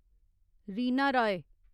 Reena Roy